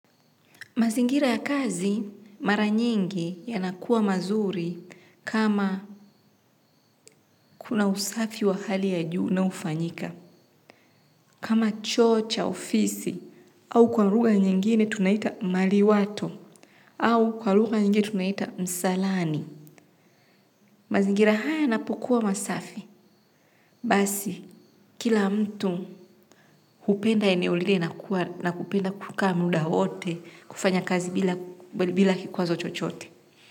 Mazingira ya kazi mara nyingi yanakuwa mazuri kama kuna usafi wa hali ya juu unaofanyika. Kama choo cha ofisi au kwa lugha nyingine tunaita maliwato au kwa lugha nyingine tunaita msalani. Mazingira haya yanapokuwa masafi. Basi kila mtu hupenda eneo lile na kupenda kukaa muda wote kufanya kazi bila kikwazo chochote.